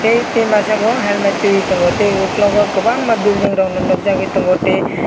tei masa bo helmet tui tongo tei ugkulukgo kwbangma building rokno nukjagui tongo tei.